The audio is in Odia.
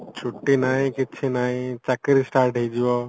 ଛୁଟି ନାହିଁ କିଛି ନାହିଁ ଚକିରୀ start ହେଇଯିବ